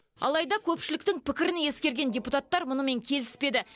алайда көпшіліктің пікірін ескерген депутаттар мұнымен келіспеді